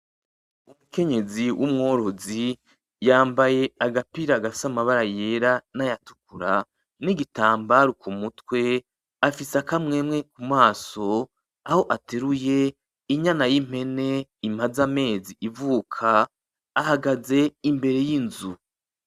Umukenyezi w'umworozi yambaye agapira gafise amabara yera naya tukura n'igitambara ku mutwe, afise akamwemwe ku maso, aho ateruye inyana y'impene imaze amezi ivuka, ahagaze imbere y'inzu.